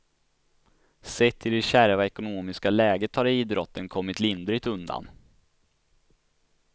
Sett till det kärva ekonomiska läget har idrotten kommit lindrigt undan.